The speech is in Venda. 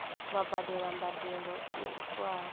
vha badele mbadelo yo tiwaho